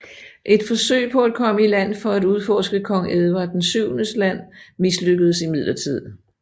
Et forsøg på at komme i land for at udforske Kong Edward VII Land mislykkedes imidlertid